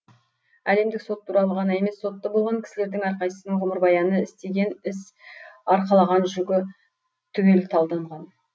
әлемдік сот туралы ғана емес сотты болған кісілердің әрқайсының ғұмырбаяны істеген іс арқалаған жүгі түгел талданған